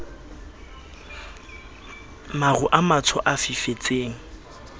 maru a matsho a fifetseng